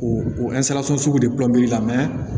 O o sugu de la